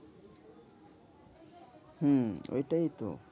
হম ওইটাইতো